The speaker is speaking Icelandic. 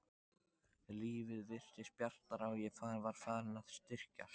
Lífið virtist bjartara og ég var farin að styrkjast.